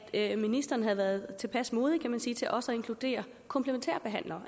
at ministeren havde været tilpas modig kan man sige til også at inkludere komplementærbehandlere